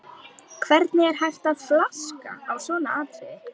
Hvernig er hægt að flaska á svona atriði?